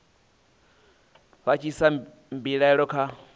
vha tshi isa mbilaelo kha